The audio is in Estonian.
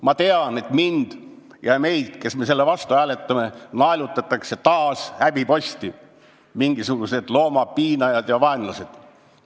Ma tean, et mind ja kõiki meid, kes me selle vastu hääletame, naelutatakse taas häbiposti: mingisugused loomapiinajad ja -vaenlased!